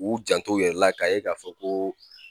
U janto u yɛrɛ la k'a ye k'a fɔ ko